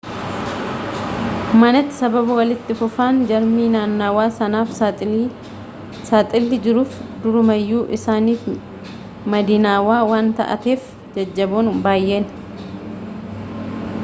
manatti sababa walitti fufaan jarmii naannawaa sanaaf saaxilli jiruuf durumayyuu isaaniif madinaawaa waan taateef jajjaboon baayyee